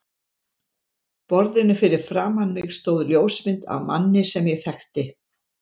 borðinu fyrir framan mig stóð ljósmynd af manni sem ég þekkti.